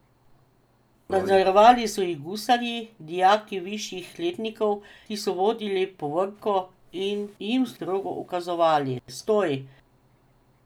Nadzorovali so jih gusarji, dijaki višjih letnikov, ki so vodili povorko in jim strogo ukazovali: "Stoj!